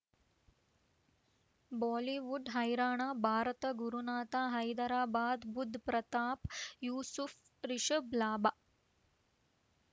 Bollywood ಹೈರಾಣ ಭಾರತ ಗುರುನಾಥ ಹೈದರಾಬಾದ್ ಬುಧ್ ಪ್ರತಾಪ್ ಯೂಸುಫ್ ರಿಷಬ್ ಲಾಭ